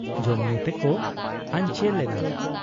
ᱡᱚᱢᱧᱩ ᱛᱮᱠᱚ ᱟᱧᱪᱮᱞ ᱮᱱᱟ ᱾